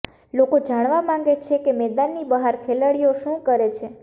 લોકો જાણવા માંગે છે કે મેદાનની બહાર ખેલાડીઓ શુ કરે છે